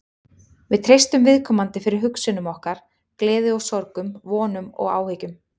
Við treystum viðkomandi fyrir hugsunum okkar, gleði og sorgum, vonum og áhyggjum.